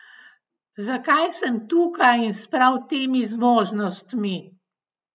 Zakaj sem tukaj in s prav temi zmožnostmi?